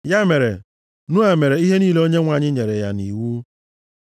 Ya mere, Noa mere ihe niile Onyenwe anyị nyere ya nʼiwu.